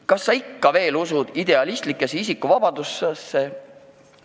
Kas keegi ikka veel usub idealistlikku isikuvabadusse?